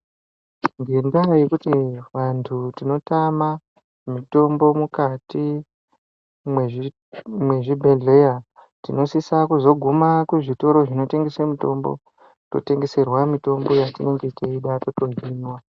Ngendaa yekuti vantu tinotama mitombo mukati mwezvibhedhleya, tinosisa kuzoguma kuzvitoro zvinotengese mitombo, totengeserwa mitombo yatinenge teida totohinwa.